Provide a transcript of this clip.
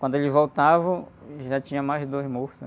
Quando eles voltavam, já tinha mais dois mortos, né?